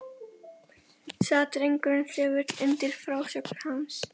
Sat drengurinn þögull undir frásögn hans.